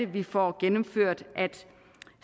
vi får gennemført at